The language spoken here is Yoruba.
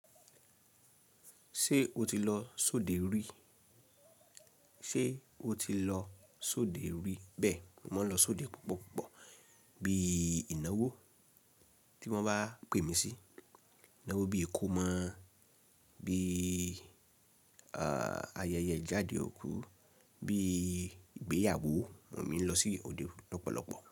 Ṣé o ti lọ sóde rí? Bẹ́ẹ̀, mò ń lọ sóde púpọ̀ púpọ̀ bí i ìnáwó tí wọ́n bá pè mí sí, ìnáwó bíi ìkómọ, bí i ayẹyẹ jáde òkú, bí i ìgbéyàwó, mo ní lọ sí òde lọ́pọ̀lọpọ̀.